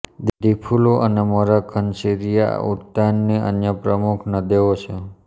દીફૂલુ અને મોરા ધનશીરીઆ ઉદ્યાનની અન્ય પ્રમુખ નદેઓ છે